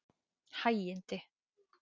Hægindi